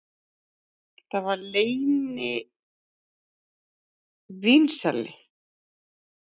Það var leynivínsali